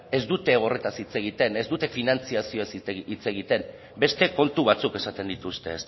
ez dute horretaz hitz egiten ez dute finantzazioaz hitz egiten beste kontu batzuk esaten dituzte